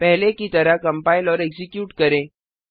पहले की तरह कंपाइल और एक्जीक्यूट करें